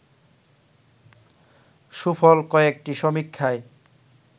সুফল কয়েকটি সমীক্ষায়